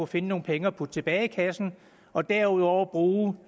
finde nogle penge at putte tilbage i kassen og derudover bruge